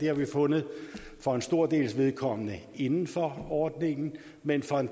har vi fundet for en stor dels vedkommende inden for ordningen men for en